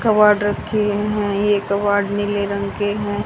Cupboard रखी हैं ये कबर्ड नीले रंग के हैं।